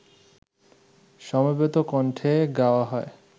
সমবেত কণ্ঠে গাওয়া হয়